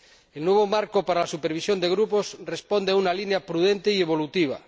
El nuevo marco para la supervisión de grupos responde a una línea prudente y evolutiva.